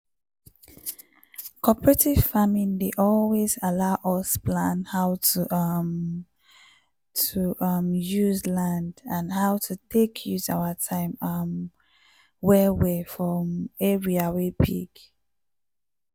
cooperative farming dey always allow us plan how to um to um use land and how to take use our time um well well for um area wey big.